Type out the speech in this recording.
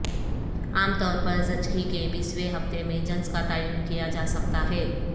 عام طور پر زچگی کے بیسیویں ہفتے میں جنس کا تعین کیا جا سکتا ہے